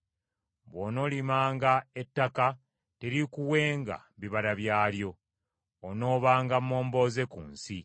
Bw’onoolimanga ettaka teriikuwenga bibala byalyo; onoobanga momboze ku nsi.”